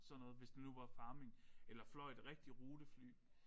Sådan noget hvis det nu var farming eller fløj et rigtigt rutefly